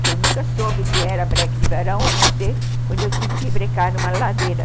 que eu nunca soube o que era breque de verão, a não ser quando eu tive que brecar numa ladeira.